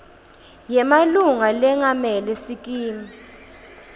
yemalunga lengamele sikimu